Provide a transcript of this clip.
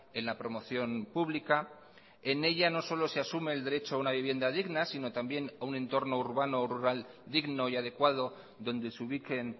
en la promoción pública en ella no solo se asume el derecho a una vivienda digna sino también a un entorno urbano o rural digno y adecuado donde se ubiquen